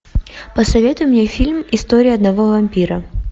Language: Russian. посоветуй мне фильм история одного вампира